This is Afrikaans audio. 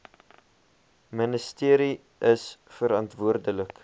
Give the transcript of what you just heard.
ministerie is verantwoordelik